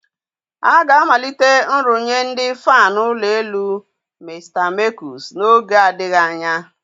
A ga-amalite nrụnye ndị fan ụlọ elu Mr Mekus n'oge adịghị anya.